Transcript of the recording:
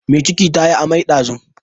Mai ciki ta yi amai ɗazun.